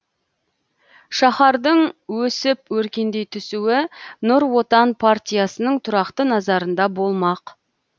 шаһардың өсіп өркендей түсуі нұр отан партиясының тұрақты назарында болмақ